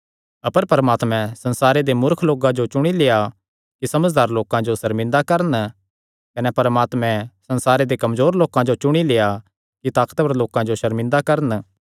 अपर परमात्मैं संसारे दे मूर्ख लोकां जो चुणी लेआ ऐ कि समझदार लोकां जो सर्मिंदा करन कने परमात्मैं संसारे दे कमजोर लोकां जो चुणी लेआ ऐ कि ताकतवर लोकां जो सर्मिंदा करन